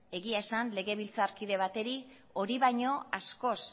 egia esan legebiltzarkide bati hori baino askoz